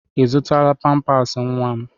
Ị zụtara pampaasị nwa m?